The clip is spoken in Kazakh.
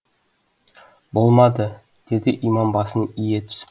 болмады деді имам басын ие түсіп